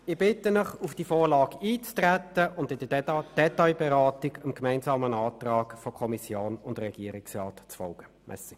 Fazit: Ich bitte Sie, auf diese Vorlage einzutreten und in der Detailberatung dem gemeinsamen Antrag von Kommission und Regierungsrat zu folgen.